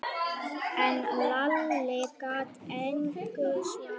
En Lalli gat engu svarað.